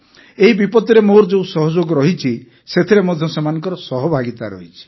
ଏହି ବିପତ୍ତିରେ ମୋର ଯେଉଁ ସହଯୋଗ ରହିଛି ସେଥିରେ ମଧ୍ୟ ସେମାନଙ୍କର ସହଭାଗିତା ରହିଛି